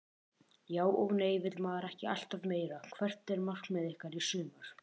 Já og nei vill maður ekki alltaf meira Hvert er markmið ykkar í sumar?